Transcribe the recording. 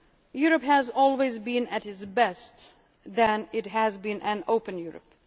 and to receive. Europe has always been at its best when it has been